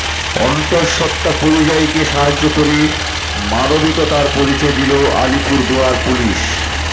অন্তঃসত্ত্বা পরিযায়ীকে সাহায্য করে মানবিকতার পরিচয় দিল আলিপুরদুয়ার পুলিশ